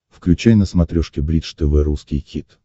включай на смотрешке бридж тв русский хит